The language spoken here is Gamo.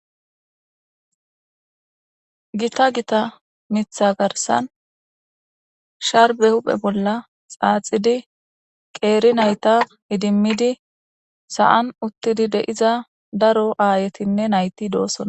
gita gita mitha garsan sharbe huphe bolla xaaxidi qeeri nayta idimmidi sa7an uttidi deiza daro aayetinne nayti doossona